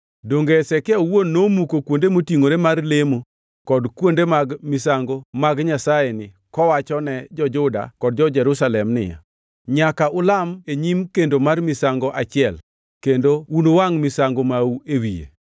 Donge Hezekia owuon nomuko kuonde motingʼore mar lemo kod kende mag misango mag nyasayeni kowachone jo-Juda kod jo-Jerusalem ni, ‘Nyaka ulam e nyim kendo mar misango achiel kendo unuwangʼ misango mau e wiye’?